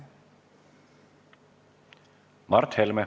Mart Helme.